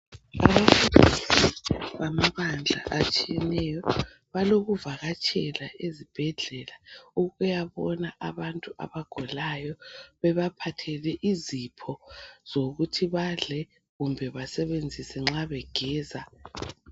Lapha ngamabandla atshiyeneyo. Balokuvakatshela ezibhedlela ukuyabona abantu abagulayo, bebaphathele izipho zokuthi badle kumbe basebenzise nxa begeza.